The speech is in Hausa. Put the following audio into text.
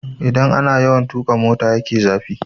Idan ana yawan tuƙa motan ya ke zafi